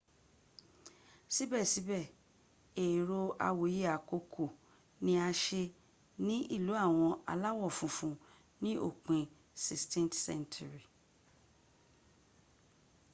sibesibe ero awoye akoko ni a se ni ilu awon alawo funfun ni opin 16th century